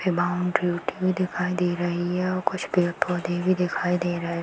boundary उठी हुई दिखाई दे रही है और कुछ पेड़-पौधे भी दिखाई दे रहे --